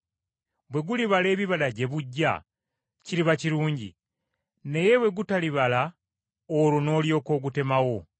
Bwe gulibala ebibala gye bujja, kiriba kirungi! Naye bwe gutalibala, olwo noolyoka ogutemawo.’ ”